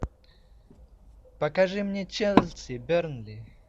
покажи мне челси бернли